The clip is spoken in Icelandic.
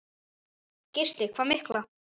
Gísli: Hvað mikla?